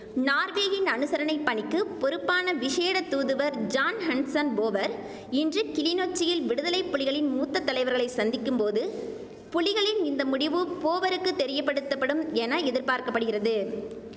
நார்வேயின் அனுசரணை பணிக்குப் பொறுப்பான விசேட தூதுவர் ஜான் ஹன்ஸன் போவர் இன்று கிளிநொச்சியில் விடுதலை புலிகளின் மூத்த தலைவர்களை சந்திக்கும் போது புலிகளின் இந்த முடிவு போவருக்கு தெரியப்படுத்தப்படும் என எதிர்பார்க்க படுகிறது